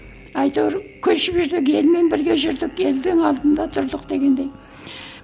әйтеуір көшіп жүрсек елмен бірге жүрдік елдің алдында тұрдық дегендей